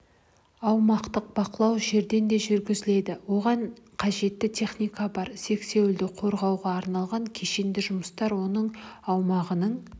аумақты бақылау жерден де жүргізіледі оған қажетті техника бар сексеуілді қорғауға арналған кешенді жұмыстар оның аумағының